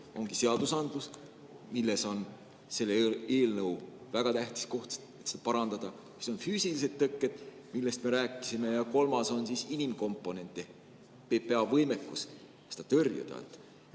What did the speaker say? Ongi seadusandlus, mille on sellel eelnõul väga tähtis koht, teiseks on füüsilised tõkked, millest me rääkisime, ja kolmas on inimkomponent ehk PPA võimekus tõrjuda.